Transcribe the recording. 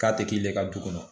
K'a tɛ k'i yɛrɛ ka du kɔnɔ